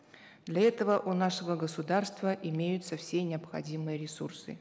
для этого у нашего государства имеются все необходимые ресурсы